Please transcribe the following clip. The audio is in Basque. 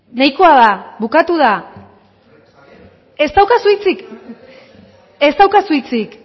nahikoa da bukatu da ez daukazu hitzik ez daukazu hitzik